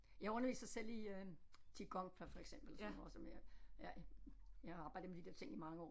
Jeg underviser selv i øh Qigong for eksempel sådan noget som jeg jeg jeg har arbejdet med de der ting i mange år